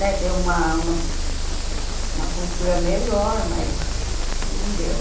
né? Ter uma uma uma cultura melhor, mas não deu.